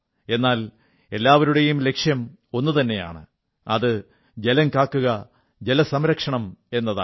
എന്നാൽ എല്ലാവരുടെയും ലക്ഷ്യം ഒന്നുതന്നെയാണ് അത് ജലം കാക്കുക ജലസംരക്ഷണം എന്നതാണ്